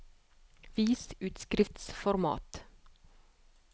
Vis utskriftsformat